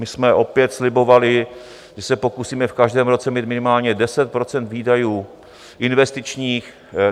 My jsme opět slibovali, že se pokusíme v každém roce mít minimálně 10 % výdajů investičních.